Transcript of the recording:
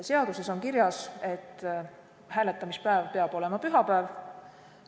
Seaduses on kirjas, et hääletamispäev peab olema pühapäev.